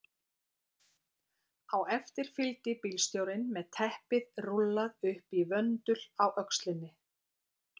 Á eftir fylgdi bílstjórinn með teppið rúllað upp í vöndul á öxlinni.